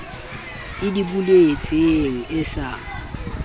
e di boletseng e sa